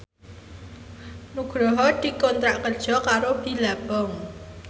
Nugroho dikontrak kerja karo Billabong